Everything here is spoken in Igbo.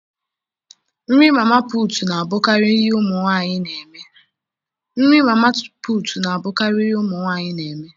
Nri mama puutu na abụkarị ihe ụmụ nwanyị na eme.